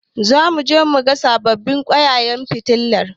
Zamu je muga sababbin ƙwaiƙwayen fitilar.